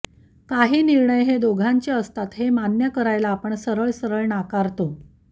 काही निर्णय हे दोघांचे असतात हे मान्य करायला आपण सरळ सरळ नाकारतो